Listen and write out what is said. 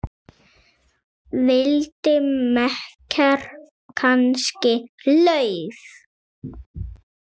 Vildi makker kannski LAUF?